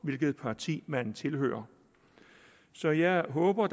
hvilket parti man tilhører så jeg håber